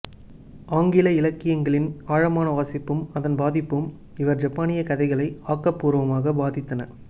ஆங்கில இலக்கியங்களில் ஆழமான வாசிப்பும் அதன் பாதிப்பும் இவர் ஜப்பானியக் கதைகளை ஆக்க பூர்வமாக பாதித்தன